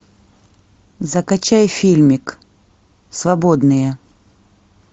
закачай фильмик свободные